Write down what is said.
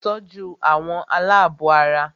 Tọ́jú àwọn alábọ̀ara!